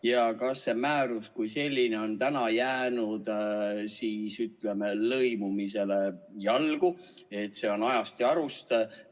Ja kas see määrus on täna jäänud lõimumisele jalgu, on see ajast ja arust?